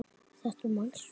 Þetta manstu.